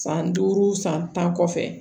San duuru san tan kɔfɛ